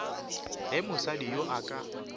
ge mosadi yoo a ka